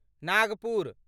Nagpur